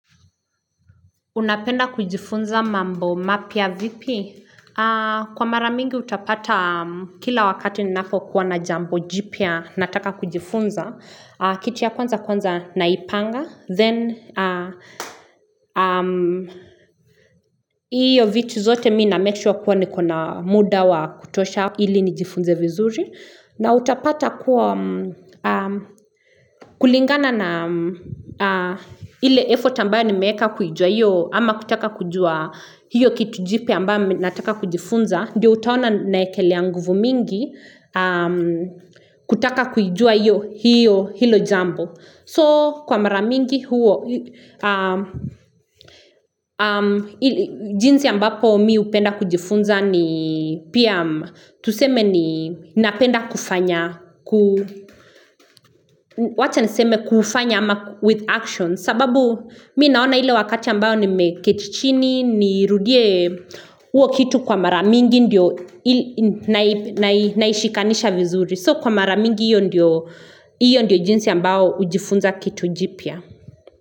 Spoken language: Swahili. Unapenda kujifunza mambo mapya vipi? Kwa maramingi utapata kila wakati ninapokuwa na jambo jipya nataka kujifunza. Kitu ya kwanza kwanza naipanga. Then, hiyo vitu zote mi na make sure kuwa niko na muda wa kutosha ili nijifunze vizuri. Na utapata kwa kulingana na ile effort ambayo nimeeka kujua hiyo ama kutaka kujua hiyo kitu jipya ambayo nataka kujifunza. Ndiyo utaona naekelea nguvu mingi kutaka kujua hiyo hilo jambo. So kwa maramingi huo jinsi ambapo mi upenda kujifunza ni Pia Tuseme ni napenda kufanya Wacha niseme kufanya ama with action sababu mi naona ile wakati ambayo nimeketi chini ni rudie uo kitu kwa maramingi ndio naishikanisha vizuri So kwa maramingi hiyo ndio jinsi ambayo ujifunza kitu jipya.